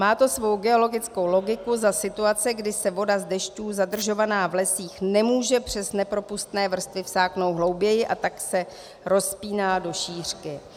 Má to svou geologickou logiku za situace, kdy se voda z dešťů zadržovaná v lesích nemůže přes nepropustné vrstvy vsáknout hlouběji, a tak se rozpíná do šířky.